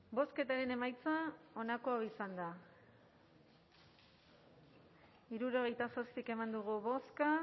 bozketaren emaitza onako izan da hirurogeita zazpi eman dugu bozka